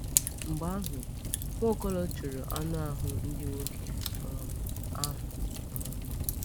Mgbe ahụ, Nwaokolo chụrụ anụ ahụ ndị nwoke um ahụ. um